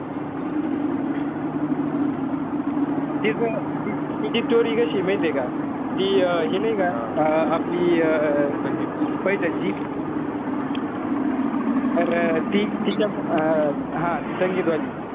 तीच तिची story कशीय माहितीय का? ती अं हे नाई का अं आपली अं पैठणची. तर ती तिच्या अं हा ती संगीत वाली.